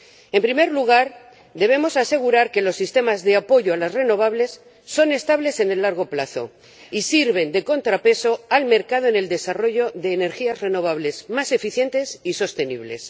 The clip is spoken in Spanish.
En primer lugar, debemos asegurar que los sistemas de apoyo a las renovables son estables en el largo plazo y sirven de contrapeso al mercado en el desarrollo de energías renovables más eficientes y sostenibles.